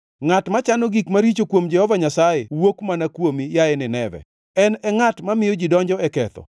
Ngʼat machano gik maricho kuom Jehova Nyasaye wuok mana kuomi, yaye Nineve, en e ngʼat mamiyo ji donjo e ketho.